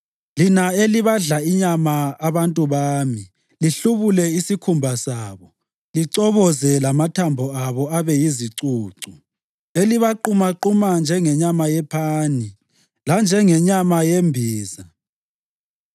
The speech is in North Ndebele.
lina elibadla inyama abantu bami, lihlubule isikhumba sabo lichoboze lamathambo abo abe yizicucu; elibaqumaquma njengenyama yepani, lanjengenyama yembiza?”